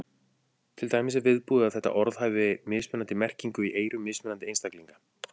Til dæmis er viðbúið að þetta orð hafi mismunandi merkingu í eyrum mismunandi einstaklinga.